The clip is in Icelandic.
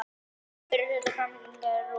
Fyrri hluta framlengingar er lokið